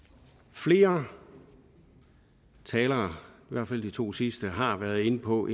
flere talere i hvert fald de to sidste har været inde på